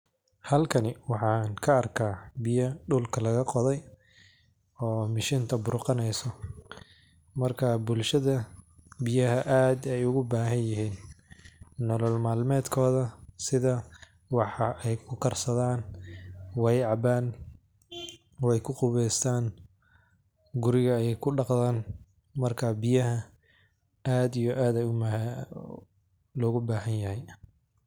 Halkani waxan kaa arka biya dulka laga qodey oo mashinta burqaneyso, marka bulshada biyaha ad ayay ogu bahanyin nolol mal medkodha sidha wax ayay kukarsadan, way caban, way kuqabeystan, guriga ayay kudaqtan marka biyaha ad ayo ad logu bahanyahay.